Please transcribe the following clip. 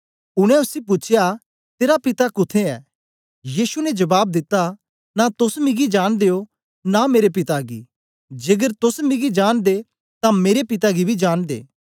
उनै उसी पूछया तेरा पिता कुत्थें ऐ यीशु ने जबाब दिता नां तोस मिगी जांनदे ओ नां मेरे पिता गी जेकर तोस मिगी जांनदे तां मेरे पिता गी बी जांनदे